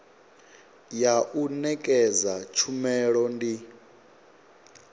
ya u nekedza tshumelo ndi